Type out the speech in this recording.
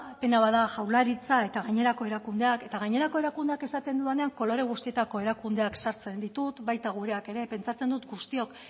pena bat da jaurlaritza eta gainerako erakundeak eta gainerako erakundeak esaten dudanean kolore guztietako erakundeak sartzen ditut baita gureak ere pentsatzen dugu guztiok